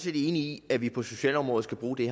i at vi på socialområdet skal bruge det